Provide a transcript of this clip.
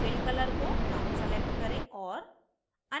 fill color को brown select करें और